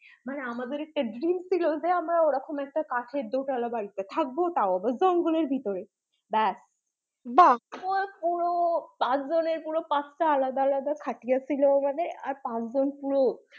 মানে আমাদের একটা dream ছিল যে আমরা ওরকম একটা কাঠের দোতোলা বাড়িতে থাকবো তাও আবার জঙ্গলের ভিতরে ব্যাস বাহ্ পাঁচজন এর পাঁচটা আলাদা আলাদা খাটিয়া ছিল ওখানে আর পাঁচজন পুরো